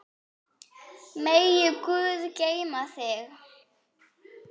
Megi Guð geyma þig.